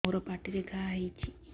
ମୋର ପାଟିରେ ଘା ହେଇଚି